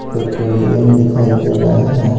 Petroleum दिखाई दे रहा है।